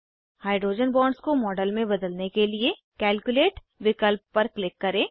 hydrogen bonds को model में बदलने के लिए कैल्कुलेट विकल्प पर क्लिक करें